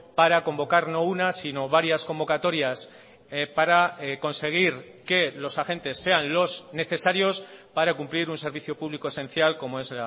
para convocar no una sino varias convocatorias para conseguir que los agentes sean los necesarios para cumplir un servicio público esencial como es